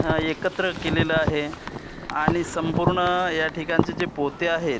अ एकत्र केलेलं आहे आणि संपूर्ण या ठिकाणचे जे पोते आहेत--